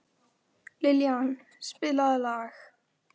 Liljan, spilaðu lag.